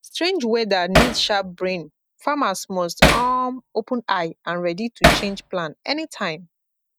strange weather need sharp brain farmers must um open eye and ready to change plan anytime